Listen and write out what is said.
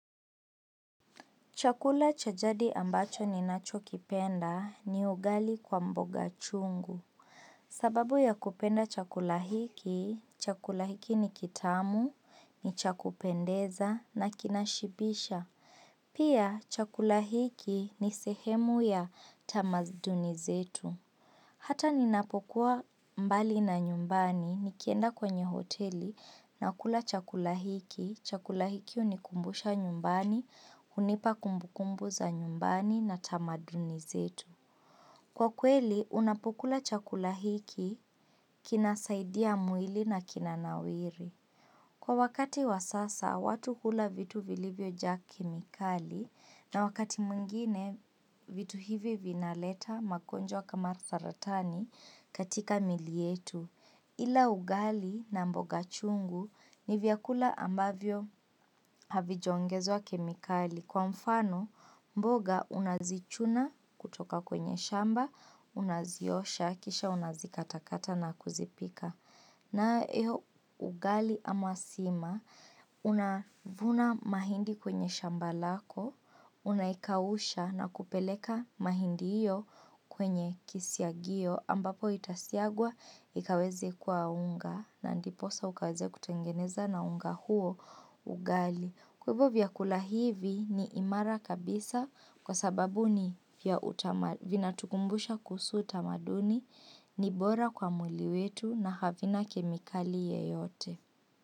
Chakula cha jadi ambacho ninachokipenda ni ugali kwa mboga chungu. Sababu ya kupenda chakula hiki, chakula hiki ni kitamu, ni chakupendeza na kinashibisha. Pia chakula hiki ni sehemu ya tamaduni zetu. Hata ninapokuwa mbali na nyumbani, nikienda kwenye hoteli, nakula chakula hiki, chakula hiki hunikumbusha nyumbani, hunipa kumbukumbu za nyumbani na tamaduni zetu. Kwa kweli, unapokula chakula hiki, kinasaidia mwili na kinanawiri. Kwa wakati wasasa, watu hula vitu vilivyojaa kemikali na wakati mwingine vitu hivi vinaleta magonjwa kama saratani katika miili yetu, ila ugali na mboga chungu ni vyakula ambavyo havijaongezwa kemikali kwa mfano mboga unazichuna kutoka kwenye shamba, unaziosha, kisha unazikatakata na kuzipika. Nayo ugali ama sima, unavuna mahindi kwenye shamba lako, unaikausha na kupeleka mahindi hiyo kwenye kisyagiyo ambapo itasyagwa ikaweze kuwa unga na ndiposa ukaweze kutengeneza na unga huo ugali. Hivyo vyakula hivi ni imara kabisa kwa sababu vinatukumbusha kuhusu utamaduni ni bora kwa mwili wetu na havina kemikali yeyote.